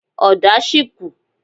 Ọ̀dà sì kù.